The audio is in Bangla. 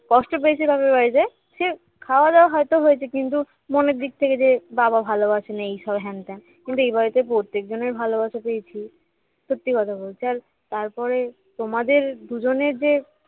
কষ্ট পেয়েছি বাপের বাড়িতে সে খাওয়া-দাওয়া হয়তো হয়েছে কিন্তু মনের দিক থেকে যে বাবা ভালোবাসে না এইসব হেন ত্যান কিন্তু এই বাড়িতে প্রত্যেকজনের ভালোবাসা পেয়েছি সত্যি কথা বলছি আর তারপরে তোমাদের দুজনের যে